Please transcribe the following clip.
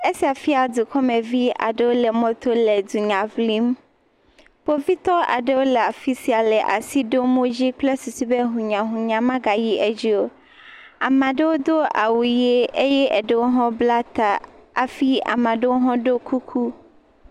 Esia fia dukɔmevi aɖewo le mɔto le dunya ŋlim. Kpovitɔwo aɖewwo le afi sia le asi ɖom wo dzi kple susu be hunya hunya magayi edzi o. Amea aɖewo do awu ʋe eye eɖewo hã wobla ta hafi ame aɖewo hã ɖɔ kuku.